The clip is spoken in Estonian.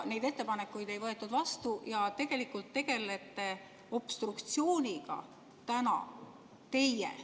Neid ettepanekuid ei võetud vastu ja tegelikult tegelete obstruktsiooniga täna teie.